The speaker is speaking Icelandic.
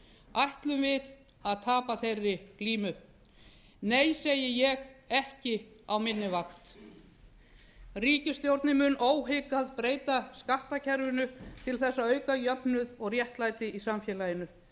ætlum við tapa þeirri glímu nei segi ég ekki á minni vakt ríkisstjórnin mun óhikað breyta skattkerfinu til að auka jöfnuð og réttlæti í samfélaginu